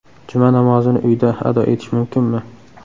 Juma namozini uyda ado etish mumkinmi?